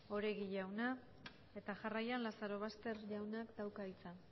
oregi andrea jarraian lazarobaster jaunak dauka hitza